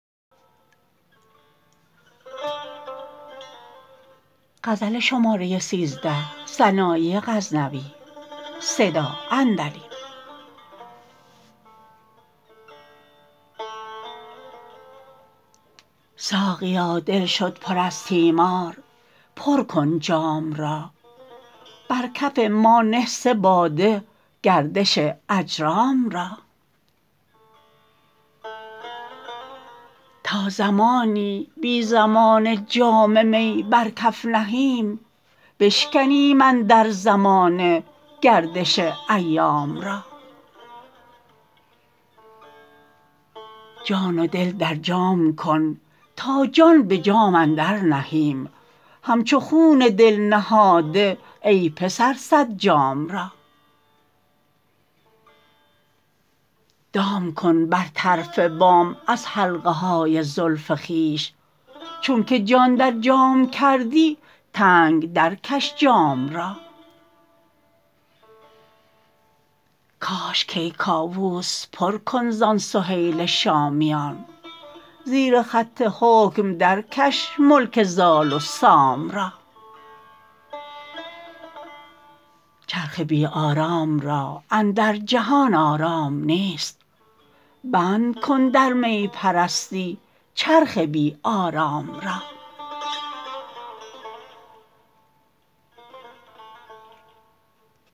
ساقیا دل شد پر از تیمار پر کن جام را بر کف ما نه سه باده گردش اجرام را تا زمانی بی زمانه جام می بر کف نهیم بشکنیم اندر زمانه گردش ایام را جان و دل در جام کن تا جان به جام اندر نهیم همچو خون دل نهاده ای پسر صد جام را دام کن بر طرف بام از حلقه های زلف خویش چون که جان در جام کردی تنگ در کش جام را کاش کیکاووس پر کن زان سهیل شامیان زیر خط حکم درکش ملک زال و سام را چرخ بی آرام را اندر جهان آرام نیست بند کن در می پرستی چرخ بی آرام را